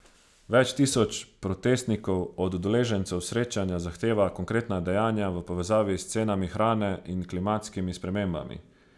Več tisoč protestnikov od udeležencev srečanja zahteva konkretna dejanja v povezavi s cenami hrane in klimatskimi spremembami.